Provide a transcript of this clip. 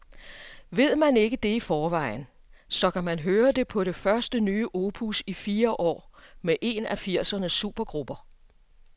Ved man ikke det i forvejen, så kan man høre det på det første nye opus i fire år med en af firsernes supergrupper.